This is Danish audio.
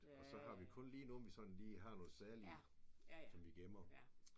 Og så har vi kun lige nogen vi sådan lige har nogle særlige som vi gemmer